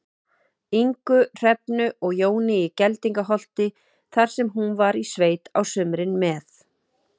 Ingu, Hrefnu og Jóni í Geldingaholti, þar sem hún var í sveit á sumrin með